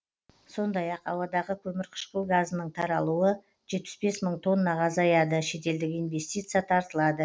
сондай ақ ауадағы көмірқышқыл газының таралуы жетпіс бес мың тоннаға азаяды шетелдік инвестиция тартылады